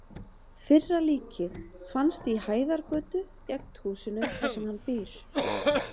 Fyrra líkið fannst í Hæðargötu, gegnt húsinu þar sem hann býr.